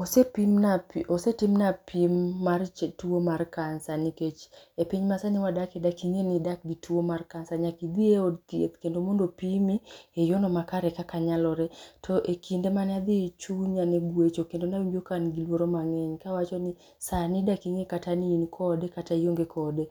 Osepimna osetimna pim mar tuo mar cancer nikech e piny masani wadake daking’e ni idak gi tuo mar cancer. Nyaki idhie e od thieth kendo mondo pimi e yor no kaka nyalore. To e kinde mane adhi chunya ne gwecho kendo nawinjo ka an gi luoro mang’eny, kawacho nis ani daking’e kata ni in kode kata ionge kode.